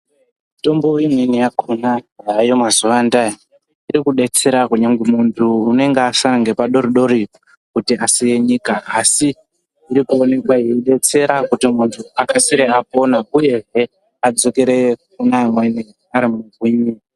Mutombo imweni yakhona yaayo mazuwa andaa iri kudetsera kunyange muntu unenge asara nepadori dori kuti asiye nyika asi iri kuoneka yeidetsera kuti muntu akasire apona uyehe adzokere kune amweni ari mugwinyi.